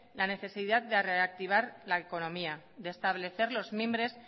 la necesidad de reactivar la económica de establecer los mimbres